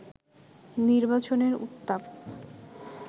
নির্বাচনের উত্তাপ